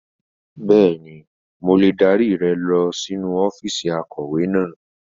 Bẹ́ẹ̀ni, mo lè dárí rẹ lọ sínú ọ́fíìsì akọ̀wé náà.